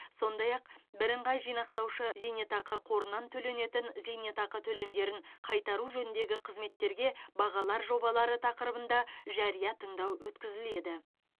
сондай ақ бірыңғай жинақтаушы зейнетақы қорынан төленетін зейнетақы төлемдерін қайтару жөніндегі қызметтерге бағалар жобалары тақырыбында жария тыңдау өткізеді